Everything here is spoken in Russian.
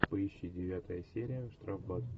поищи девятая серия штрафбат